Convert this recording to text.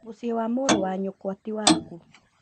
Mũciĩ wa mũrwa nyũkwa ti waku